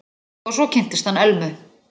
Og svo kynntist hann Elmu.